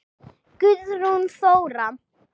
Guðrún Þóra.